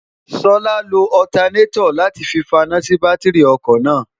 ṣọlá lo ọtanétọ̀ láti fi faná sí bátíìrì ọkọ̀ náà